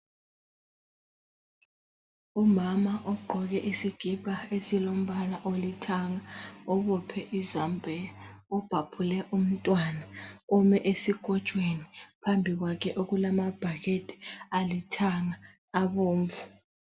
Umama ogqoke isikipa esilombala olithanga obophe izambiya ubhabhule umntwana ume esikotshweni phambi kwakhe okulama bhakede alithanga abomvu.